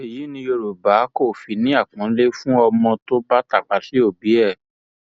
èyí ni yorùbá kò fi ní àpọnlé fún ọmọ tó bá tàpá sí òbí ẹ